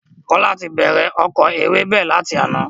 Kola ti bẹ̀rẹ̀ oko ewébẹ̀ lati àná